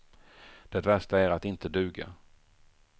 Det värsta är att inte duga.